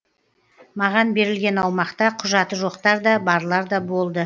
маған берілген аумақта құжаты жоқтар да барлар да болды